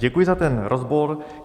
Děkuji za ten rozbor.